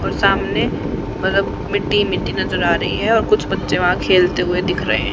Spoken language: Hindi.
और सामने मतलब मिट्टी मिट्टी नजर आ रही है और कुछ बच्चे वहां खेलते हुए दिख रहे हैं।